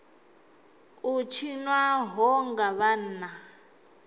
u tshinwa ho nga vhanna